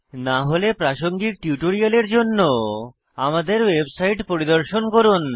না হলে প্রাসঙ্গিক টিউটোরিয়ালের জন্য আমাদের ওয়েবসাইট পরিদর্শন করুন